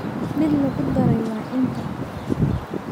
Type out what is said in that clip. mid lagu daray waa inta